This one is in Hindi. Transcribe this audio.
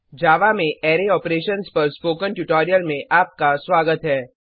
जावा में अराय ऑपरेशन्स पर स्पोकन ट्यूटोरियल में आपका स्वागत है